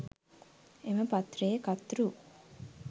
එම පත්‍රයේ කර්තෘ